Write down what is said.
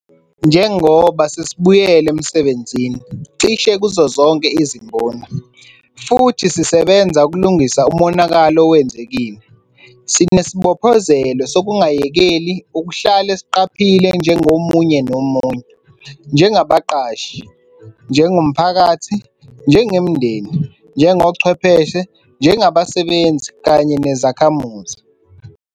Njengoba sesibuyela emsebenzini cishe kuzozonke izimboni - futhi sisebenza ukulungisa umonakalo owenzekile - sinesibophezelo sokungayekeli ukuhlale siqaphile njengomunye nomunye, njengabaqashi, njengomphakathi, njengemindeni, njengochwepheshe, njengabasebenzi kanye nezakhamuzi.